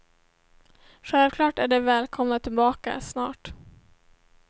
Självklart är de välkomna tillbaka, snart.